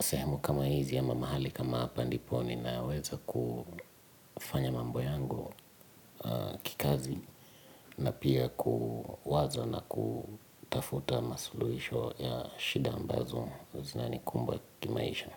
Sehemu kama hizi ya ama mahali kama hapa ndipo ni naweza kufanya mambo yangu kikazi. Na pia kuwaza na kutafuta masuluhisho ya shida ambazo zinani kumba kimaisha.